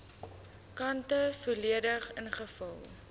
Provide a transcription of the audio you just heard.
kante volledig ingevul